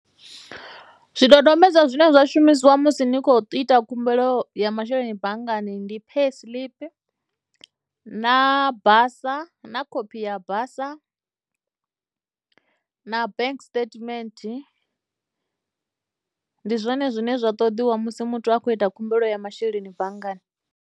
Zwidodombedzwa zwine zwa shumisiwa musi ni kho u ita khumbelo ya masheleni banngani ndi pay tshiḽipi na basa na khophi ya basa na bank statement ndi zwone zwine zwa ṱoḓiwa musi muthu a khou ita khumbelo ya masheleni banngani.